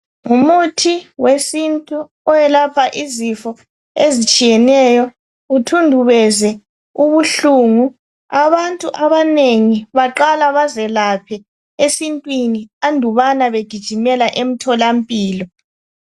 ngumuthi wesintu oyelapha izifo ezitshiyeneyo uthundubeze ubuhlungu abantu abanengi baqala bazelaphe esintwini andubana begijimela emtholampilo